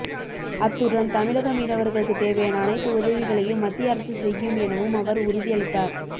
அத்துடன் தமிழக மீனவர்களுக்கு தேவையான அனைத்து உதவிகளையும் மத்திய அரசு செய்யும் எனவும் அவர் உறுதி அளித்தார்